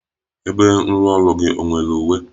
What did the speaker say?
Ebe nrụọrụ gị ọ nwere uwe?